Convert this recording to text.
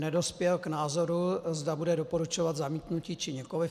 Nedospěl k názoru, zda bude doporučovat zamítnutí, či nikoliv.